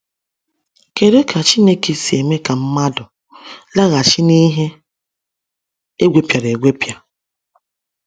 Kedu ka Chineke si eme ka mmadụ “laghachi n’ihe egwepịara egwepịa”?